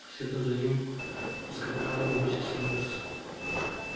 следом за ним поскакала и миссис норрис